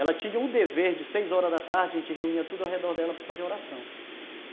Ela tinha um dever de seis horas da tarde, a gente reunia tudo ao redor dela para fazer oração.